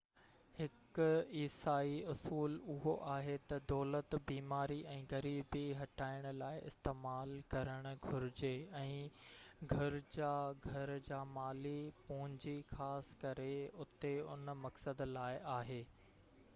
هڪ عيسائي اصول اهو آهي تہ دولت بيماري ۽ غريبي هٽائڻ لاءِ استعمال ڪرڻ گهرجي ۽ گرجا گهر جا مالي پونجي خاص ڪري اتي ان مقصد لاءِ آهي